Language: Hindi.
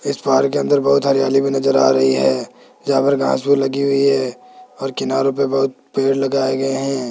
इस पार्क के अंदर बहोत सारी हरियाली भी नज़र आ रही है जहां पर घास भूस लगी हुई है और किनारों पे बहुत पेड़ लगाये गये है।